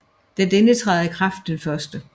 Da denne træder i kraft den 1